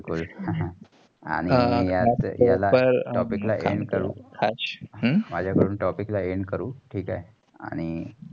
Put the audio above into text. हा , आणि मजा कडून topic ला end करु. ठीक आहे.